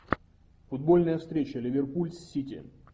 футбольная встреча ливерпуль с сити